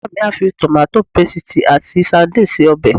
Ìyá mi á fi tòmáto pesìtì ati sadínìnnì se ọbẹ̀